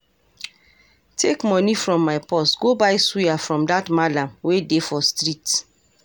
Take money from my purse go buy suya from dat mallam wey dey for street